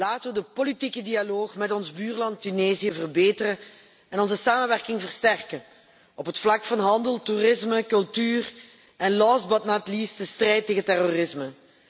Laten we de politieke dialoog met ons buurland Tunesië verbeteren en onze samenwerking versterken op het vlak van handel, toerisme, cultuur en, last but not least, de strijd tegen terrorisme.